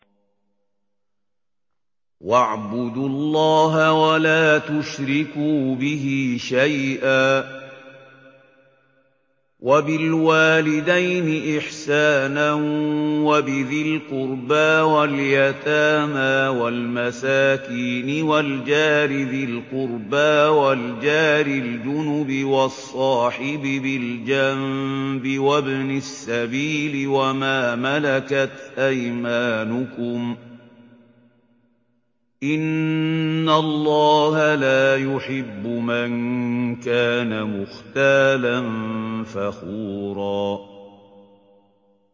۞ وَاعْبُدُوا اللَّهَ وَلَا تُشْرِكُوا بِهِ شَيْئًا ۖ وَبِالْوَالِدَيْنِ إِحْسَانًا وَبِذِي الْقُرْبَىٰ وَالْيَتَامَىٰ وَالْمَسَاكِينِ وَالْجَارِ ذِي الْقُرْبَىٰ وَالْجَارِ الْجُنُبِ وَالصَّاحِبِ بِالْجَنبِ وَابْنِ السَّبِيلِ وَمَا مَلَكَتْ أَيْمَانُكُمْ ۗ إِنَّ اللَّهَ لَا يُحِبُّ مَن كَانَ مُخْتَالًا فَخُورًا